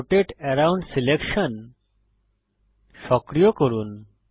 রোটাতে around selection সক্রিয় করুন